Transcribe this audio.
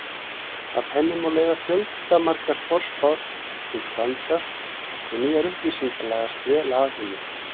Af henni má leiða fjöldamargar forspár sem standast og nýjar upplýsingar lagast vel að henni.